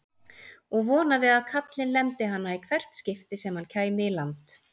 Og vonaði að kallinn lemdi hana í hvert skipti sem hann kæmi í land!